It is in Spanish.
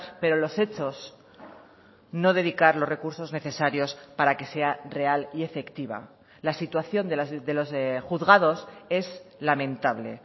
pero los hechos no dedicar los recursos necesarios para que sea real y efectiva la situación de los juzgados es lamentable